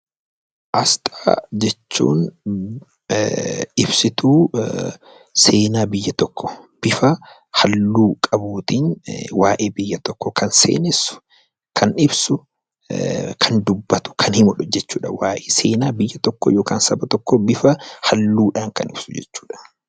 Aasxaa jechuun ibsituu seenaa biyya tokkoo bifa halluu qabuutiin waa'ee biyya tokkoo kan seenessu, kan ibsu, kan dubbatu kan himachal jechuudha. Waa'ee seenaa biyya tokkoo bifa halluudhaan kan ibsu jechuudha.